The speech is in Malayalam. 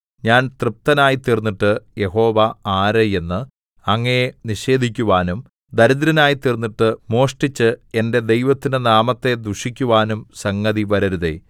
ഞാൻ തൃപ്തനായിത്തീർന്നിട്ട് യഹോവ ആര് എന്ന് അങ്ങയെ നിഷേധിക്കുവാനും ദരിദ്രനായിത്തീർന്നിട്ട് മോഷ്ടിച്ച് എന്റെ ദൈവത്തിന്റെ നാമത്തെ ദുഷിക്കുവാനും സംഗതി വരരുതേ